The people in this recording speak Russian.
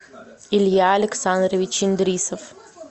илья александрович индрисов